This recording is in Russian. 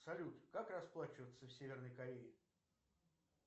салют как расплачиваться в северной корее